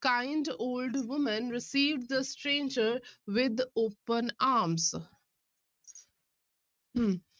Kind old woman received the stranger with open arms hmm